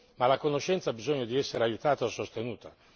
Ma la conoscenza ha bisogno di essere aiutata e sostenuta.